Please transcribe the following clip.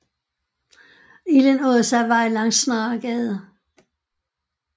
Ilden åd sig vej langs Snaregade